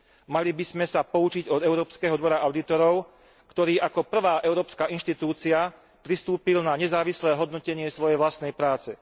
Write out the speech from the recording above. Mali by sme sa poučiť od Európskeho dvora audítorov, ktorý ako prvá európska inštitúcia pristúpil na nezávislé hodnotenie svojej vlastnej práce.